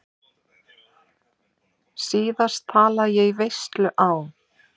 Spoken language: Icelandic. Síðast talaði ég í veislu á